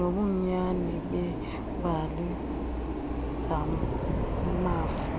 nobunyani beembali zamafa